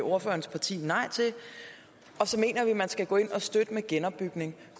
ordførerens parti nej til og så mener vi at man skal gå ind og støtte med genopbygningen